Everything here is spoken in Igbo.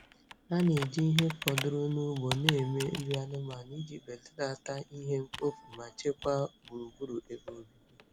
Ha na-eji ihe fọdụrụ n'ugbo na-eme nri anụmanụ iji belata ihe mkpofu ma chekwaa gburugburu ebe obibi.